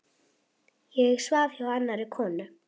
Ég svaf hjá annarri konu.